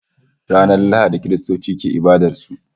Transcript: Ranar Lahadi Kiristoci ke ibadar su